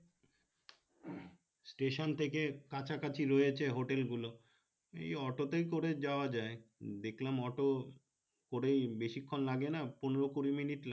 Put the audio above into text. station থেকে কাছা কাছি রয়েছে hotel গুলো এই auto তে করেই যাওয়া যায় দেখলাম auto করে বেশিক্ষণ লাগে না পনেরো কুড়ি মিনিট লাগে